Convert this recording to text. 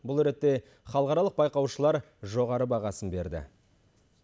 бұл ретте халықаралық байқаушылар жоғары бағасын берді